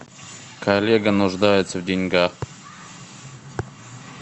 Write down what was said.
коллега нуждается в деньгах